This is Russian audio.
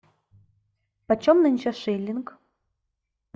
почем нынче шилинг